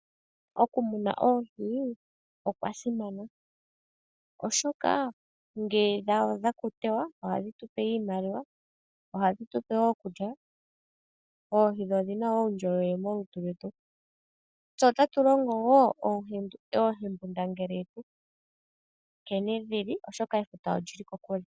Okumuna oohi okwasimana oshoka ngee dha adha okutewa ohadhi tupe iimaliwa ohadhi tupe woo okulya, oohi dho odhina woo uundjolowele molutu lwetu. Tse otatu longo woo oohembundangele yetu nkene dhili oshoka efuta olyili kokule.